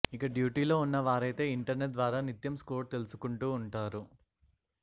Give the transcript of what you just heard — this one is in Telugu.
ఇక డ్యూటీలో ఉన్న వారైతే ఇంటర్నెట్ ద్వారా నిత్యం స్కోర్ తెలుసుకుంటూ ఉంటారు